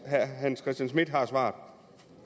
herre hans christian schmidt har svaret